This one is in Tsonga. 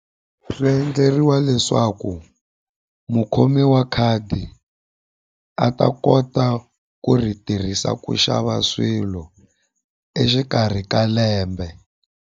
Swi endleriwa leswaku mukhomi wa khadi a ta kota ku ri tirhisa ku xava swilo exikarhi ka lembe.